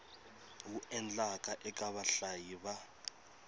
wu endlaka eka vahlayi va